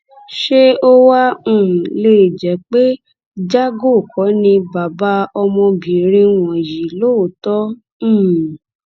ṣé ó wáá um lè jẹ pé jago kò ní bàbá ọmọbìnrin wọn yìí lóòótọ um